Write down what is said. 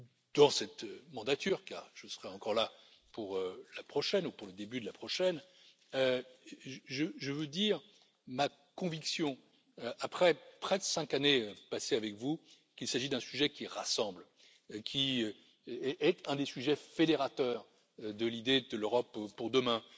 thème, dans cette mandature car je serai encore là pour la prochaine ou pour le début de la prochaine, je veux dire ma conviction, après près de cinq années passées avec vous, qu'il s'agit d'un sujet qui rassemble, qui est un des sujets fédérateurs de l'idée de l'Europe pour demain.